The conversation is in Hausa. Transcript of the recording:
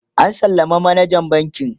an sallama manajan bankin